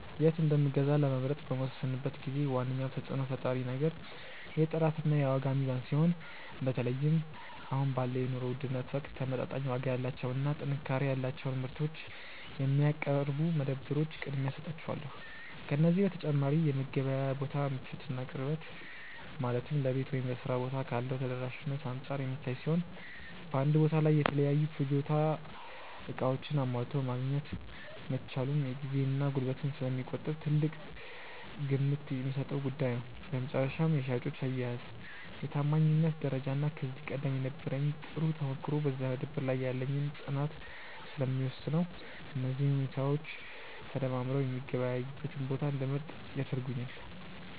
የት እንደምገዛ ለመምረጥ በምወስንበት ጊዜ ዋነኛው ተጽዕኖ ፈጣሪ ነገር የጥራትና የዋጋ ሚዛን ሲሆን፣ በተለይም አሁን ባለው የኑሮ ውድነት ወቅት ተመጣጣኝ ዋጋ ያላቸውንና ጥንካሬ ያላቸውን ምርቶች የሚያቀርቡ መደብሮች ቅድሚያ እሰጣቸዋለሁ። ከዚህ በተጨማሪ የመገበያያ ቦታው ምቾትና ቅርበት፣ ማለትም ለቤት ወይም ለሥራ ቦታ ካለው ተደራሽነት አንጻር የሚታይ ሲሆን፣ በአንድ ቦታ ላይ የተለያዩ የፍጆታ ዕቃዎችን አሟልቶ ማግኘት መቻሉም ጊዜንና ጉልበትን ስለሚቆጥብ ትልቅ ግምት የምሰጠው ጉዳይ ነው። በመጨረሻም የሻጮች አያያዝ፣ የታማኝነት ደረጃና ከዚህ ቀደም የነበረኝ ጥሩ ተሞክሮ በዚያ መደብር ላይ ያለኝን ፅናት ስለሚወስነው፣ እነዚህ ሁኔታዎች ተደማምረው የምገበያይበትን ቦታ እንድመርጥ ያደርጉኛል።